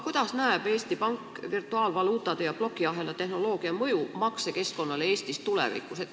Kuidas aga Eesti Pank näeb virtuaalvaluutade ja blokiahela tehnoloogia mõju Eesti maksekeskkonnale tulevikus?